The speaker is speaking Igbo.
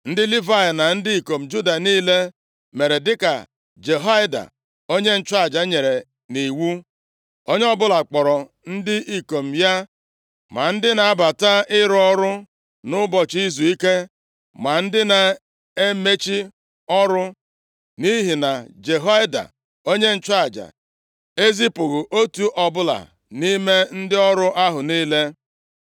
Ndị Livayị na ndị ikom Juda niile mere dịka Jehoiada, onye nchụaja nyere nʼiwu. Onye ọbụla kpọọrọ ndị ikom ya, ma ndị na-abata ịrụ ọrụ nʼụbọchị izuike ma ndị na-emechi ọrụ. Nʼihi na Jehoiada onye nchụaja ezipụghị otu ọbụla nʼime ndị ọrụ ahụ niile.